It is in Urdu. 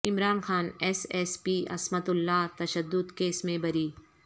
عمران خان ایس ایس پی عصمت اللہ تشدد کیس میں بری